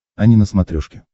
ани на смотрешке